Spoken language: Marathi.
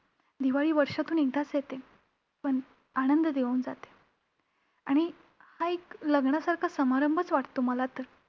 दिवाळी वर्षातून एकदाच येते पण आनंद देऊन जाते. आणि हा एक लग्नासारखा समारंभच वाटतो मला तर.